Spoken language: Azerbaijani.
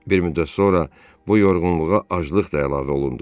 Bir müddət sonra bu yorğunluğa aclıq da əlavə olundu.